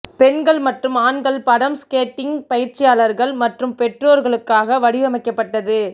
பெண்கள் மற்றும் ஆண்கள் படம் ஸ்கேட்டிங் பயிற்சியாளர்கள் மற்றும் பெற்றோர்களுக்காக வடிவமைக்கப்பட்டது